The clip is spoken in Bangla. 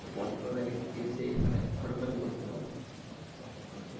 পর্যটকরা এসে এখানে photography করতে পারবে।